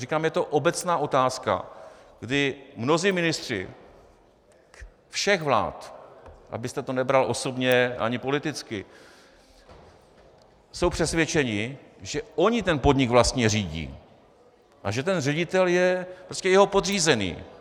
Říkám, je to obecná otázka, kdy mnozí ministři všech vlád, abyste to nebral osobně ani politicky, jsou přesvědčeni, že oni ten podnik vlastně řídí a že ten ředitel je prostě jeho podřízený.